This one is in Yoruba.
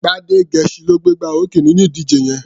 Gbádégẹṣin ló gbégbá orókè nínú ìdíje yẹn.